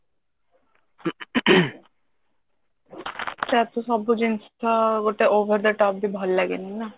ତାର ତା ସବୁ ଜିନିଷ ଗୋଟେ over the top ବି ଭଲ ଲଗେନି ନା